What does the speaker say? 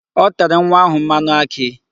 O tere nwa ahụ mmanụ akị.